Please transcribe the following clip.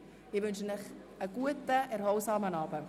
Ich wünsche Ihnen einen guten und erholsamen Abend.